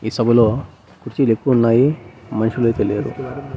ఈ సభలో కుర్చీలు ఎక్కువ ఉన్నాయి మనుషులైతే లేరు.